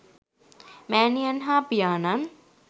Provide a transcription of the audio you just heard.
මෑණියන් හා පියාණන්